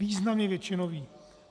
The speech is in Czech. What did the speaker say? Významně většinový.